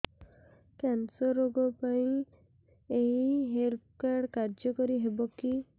cancer ରୋଗ ପାଇଁ ଏଇ ହେଲ୍ଥ କାର୍ଡ କାର୍ଯ୍ୟକାରି ହେବ କି